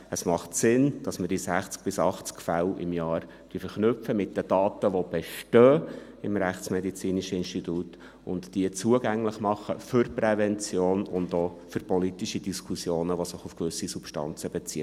Es macht Sinn, dass wir die 60 bis 80 Fälle pro Jahr mit den Daten verknüpfen, die im IRM bestehen, und dass wir diese zugänglich für die Prävention und für politische Diskussionen machen, die sich auf gewisse Substanzen beziehen.